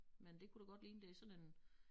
Men det kunne det godt ligne det sådan en